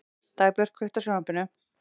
Dagbjört, kveiktu á sjónvarpinu.